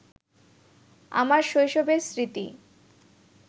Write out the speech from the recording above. আমার শৈশবের স্মৃতি